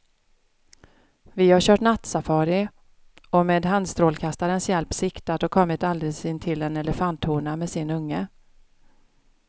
Vi har kört nattsafari och med handstrålkastarens hjälp siktat och kommit alldeles intill en elefanthona med sin unge.